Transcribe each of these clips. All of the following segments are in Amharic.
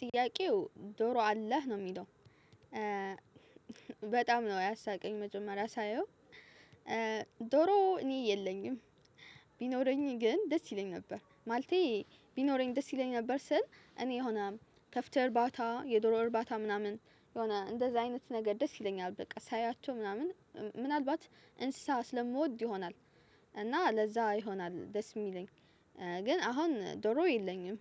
ጥያቄው ዶሮ አለህ ነው የሚለው በጣም ነው ያሳቀኝ መጀመሪያ ሳየው ዶሮ እኔ የለኝም። ቢኖረኝ ግን ደስ ይለኝ ነበር ማልቴ ቢኖረኝ ደስ ይለኛል ነበር ስል እኔ የሆነ ከፍተህ እርባታ የዶሮ እርባታ ምናምን የሆነ እንደዚህ አይነት ነገር ደስ ይለኛል በቃ ሳያቸው ምናምን ምናልባት እንስሳ ስለምወድ ይሆናል እና ለዛ ይሆናል ደስ የሚለኝ። ግን አሁን ዶሮ የለኝም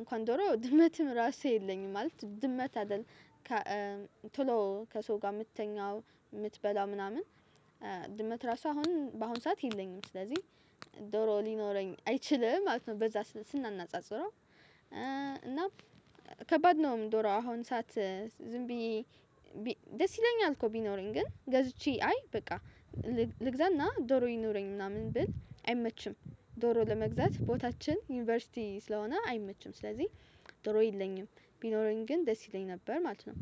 እንኳን ዶሮ ድመትም ራሱ የለኝም ማለት ድመት አይደል። ቶሎ ከሰው ጋር የምትተኛው የምትበላ ምናምን ድመት ራሱ አሁን በአሁን ሰዓት የለኝም። ስለዚህ ዶሮ ሊኖረኝ አይችልም ማለት ነው። በዛ ስናናጽረው እና ከባድ ነው። ዶሮ አሁን ሰዓት ዝም ብዬ ደስ ይለኛል እኮ ቢኖረኝ ግን ገዝቼ አይ በቃ ልግዛና ዶሮ ይኖረኝ ምናምን ብል አይመችም ዶሮ ለመግዛት ቦታችን ዩኒቨርሲቲ ስለሆነ አይመችም። ስለዚህ ዶሮ የለኝም ቢኖረኝ ግን ደስ ይለኝ ነበር ማለት ነው።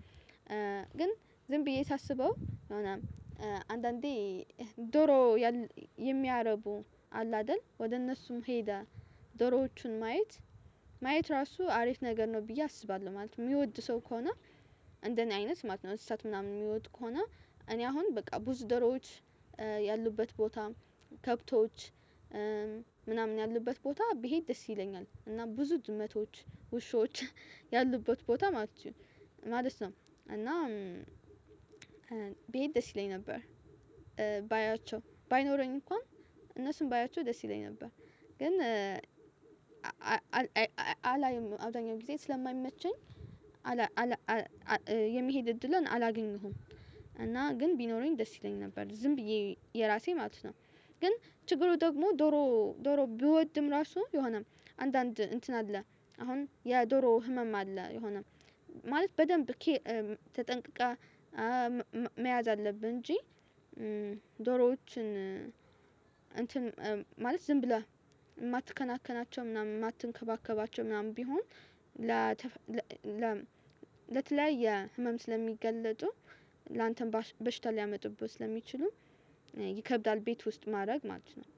ግን ዝም ብዬ ሳስበው የሆነም አንዳንዴ ዶሮ የሚያረቡ አለ አይደል? ወደ እነሱም ሄደ ዶሮዎቹን ማየት ማየት ራሱ አሪፍ ነገር ነው ብዬ አስባለሁ ማለት ነው። የሚወድ ሰው ከሆነ እንደኔ አይነት ማለት ነው። እሳት ምናምን የሚወድ ከሆነ እኔ አሁን በቃ ብዙ ደሮዎች ያሉበት ቦታ ከብቶች ምናምን ያሉበት ቦታ ብሄድ ደስ ይለኛል። እና ብዙ ድመቶች ውሾች ያሉበት ቦታ ማለት ነው። እና ብሄድ ደስ ይለኝ ነበር። ባያቸው ባይኖረኝ እንኳን እነሱን ባያቸው ደስ ይለኝ ነበር። ግን አላይም አብዛኛው ጊዜ ስለማይመቸኝ አላይም የሚሄድ እድለን አላገኘሁም እና ግን ቢኖረኝ ደስ ይለኝ ነበር ዝም ብዬ የራሴ ማለት ነው። ግን ችግሩ ደግሞ ዶሮ ዶሮ ብወድም ራሱ የሆነም አንዳንድ እንትን አለ አሁን የዶሮ ህመም አለ። የሆነ ማለት በደንብ ተጠንቅቃ መያዝ አለብን እንጂ። ዶሮዎችን እንትን ማለት ዝም ብለህ የማትከናከናቸው ምናምን የማትንከባከባቸው ምናምን ቢሆን። ለተለያየ ህመም ስለሚጋለጡ ላንተም በሽታ ሊያመጡበት ለሚችሉም ይከብዳል ቤት ውስጥ ማድረግ ማለት ነው